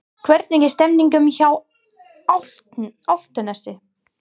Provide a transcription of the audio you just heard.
Hvernig er stemningin hjá Álftanesi?